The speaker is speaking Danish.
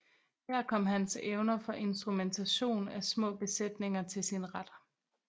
Her kom hans evner for instrumentation af små besætninger til sin ret